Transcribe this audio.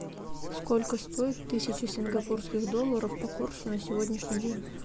сколько стоит тысяча сингапурских долларов по курсу на сегодняшний день